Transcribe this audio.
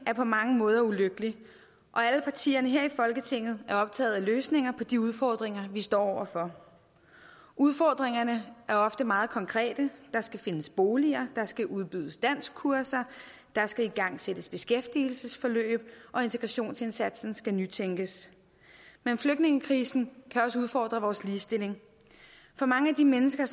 er på mange måder ulykkelig og alle partierne her i folketinget er optaget af løsninger på de udfordringer vi står over for udfordringerne er ofte meget konkrete der skal findes boliger der skal udbydes danskkurser der skal igangsættes beskæftigelsesforløb og integrationsindsatsen skal nytænkes men flygtningekrisen kan også udfordre vores ligestilling for mange af de mennesker